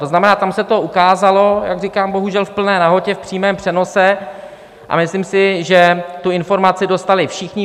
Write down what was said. To znamená, tam se to ukázalo, jak říkám, bohužel v plné nahotě v přímém přenosu, a myslím si, že tu informaci dostali všichni.